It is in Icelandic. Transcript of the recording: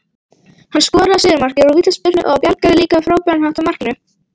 Lýðræði er annars vegar tiltekin stjórnskipan.